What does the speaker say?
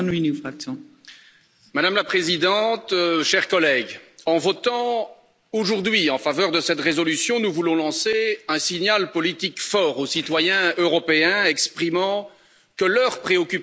Madame la Présidente, chers collègues, en votant aujourd'hui en faveur de cette résolution, nous voulons lancer un signal politique fort aux citoyens européens exprimant que leurs préoccupations ont été entendues.